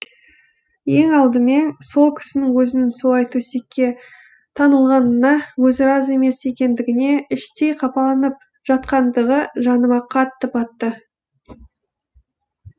ең алдымен сол кісінің өзінің солай төсекке таңылғанына өзі разы емес екендігіне іштей қапаланып жатқандығы жаныма қатты батты